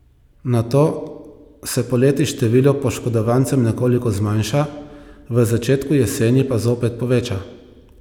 Nato se poleti število poškodovancev nekoliko zmanjša, v začetku jeseni pa zopet poveča.